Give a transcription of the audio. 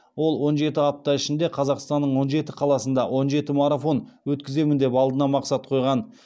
ол он жеті апта ішінде қазақстанның он жеті қаласында он жеті марафон өткіземін деп алдына мақсат қойған